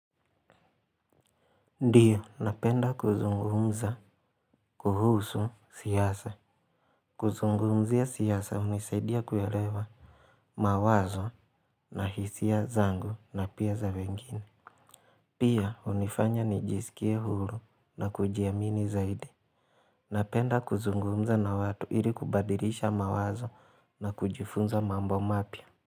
Ndiyo napenda kuzungumza kuhusu siasa. Kuzungumzia siasa hunisaidia kuelewa mawazo na hisia zangu na pia za wengine. Pia hunifanya nijiskie huru na kujiamini zaidi. Napenda kuzungumza na watu ili kubadilisha mawazo na kujifunza mambo mapya.